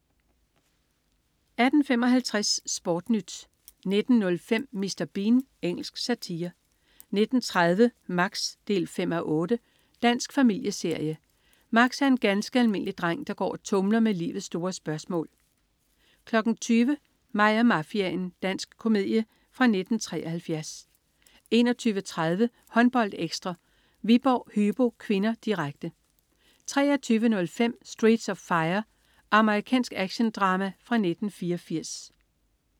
18.55 SportNyt 19.05 Mr. Bean. Engelsk satire 19.30 Max 5:8. Dansk familieserie. Max er en ganske almindelig dreng, der går og tumler med livets store spørgsmål 20.00 Mig og mafiaen. Dansk komedie fra 1973 21.30 HåndboldEkstra: Viborg-Hypo (k), direkte 23.05 Streets of Fire. Amerikansk actiondrama fra 1984